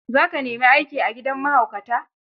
za ka nemi aiki a gidan mahaukata?